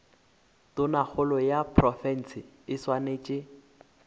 tonakgolo ya profense e swanetše